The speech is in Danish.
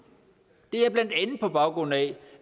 det er blandt andet på baggrund af